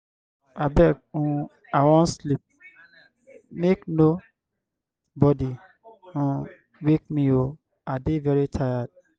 abeg um i wan sleep. make no body um wake me oo. i dey very tired.